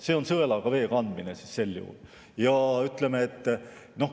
See on sõelaga vee kandmine sel juhul.